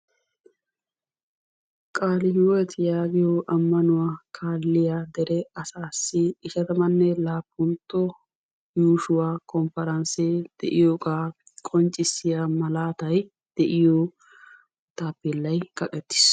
Qaalihiwot yaagiyaa ammanuwaa kaalliyaa dere assaasi ishshatammanne laappntto yuushshuwaa konparansee de'iyoogaa qonccisiyaa malaatay de'iyoo taapeellay kaqettiis.